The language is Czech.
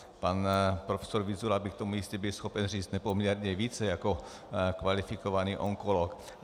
Pan profesor Vyzula by k tomu jistě byl schopen říct nepoměrně více jako kvalifikovaný onkolog.